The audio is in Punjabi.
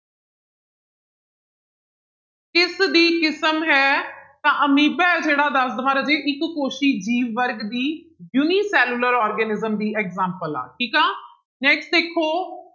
ਕਿਸਦੀ ਕਿਸਮ ਹੈ ਤਾਂ ਅਮੀਬਾ ਹੈ ਜਿਹੜਾ ਦੱਸ ਦੇਵਾਂ ਰਾਜੇ ਇੱਕ ਕੋਸੀ ਜੀਵ ਵਰਗ ਦੀ unicellular organism ਦੀ example ਆ ਠੀਕ ਹੈ next ਦੇਖੋ